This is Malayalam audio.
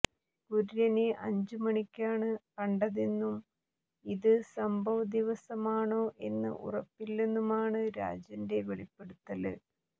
കുര്യനെ അഞ്ച് മണിക്കാണ് കണ്ടതെന്നും ഇത് സംഭവദിവസമാണോ എന്ന് ഉറപ്പില്ലെന്നുമാണ് രാജന്റെ വെളിപ്പെടുത്തല്